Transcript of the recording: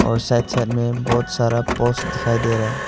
और side side में बहुत सारा पोस्ट दिखाई दे रहा है।